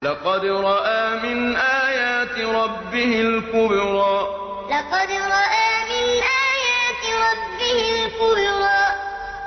لَقَدْ رَأَىٰ مِنْ آيَاتِ رَبِّهِ الْكُبْرَىٰ لَقَدْ رَأَىٰ مِنْ آيَاتِ رَبِّهِ الْكُبْرَىٰ